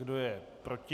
Kdo je proti?